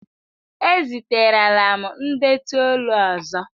Eziterela m ndetu olu ọzọ!